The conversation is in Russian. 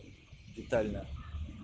детально